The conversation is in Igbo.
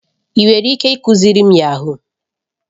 Ị nwere ike ịkụziri m yahuu?